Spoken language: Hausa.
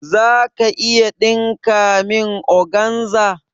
Za ka iya ɗinka min organza?